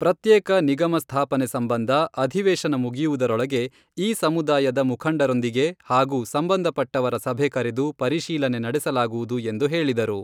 ಪ್ರತ್ಯೇಕ ನಿಗಮ ಸ್ಥಾಪನೆ ಸಂಬಂಧ ಅಧಿವೇಶನ ಮುಗಿಯುವುದರೊಳಗೆ ಈ ಸಮುದಾಯದ ಮುಖಂಡರೊಂದಿಗೆ ಹಾಗೂ ಸಂಬಂಧಪಟ್ಟವರ ಸಭೆ ಕರೆದು ಪರಿಶೀಲನೆ ನಡೆಸಲಾಗುವುದು ಎಂದು ಹೇಳಿದರು.